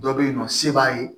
Dɔ bɛ yen nɔ se b'a ye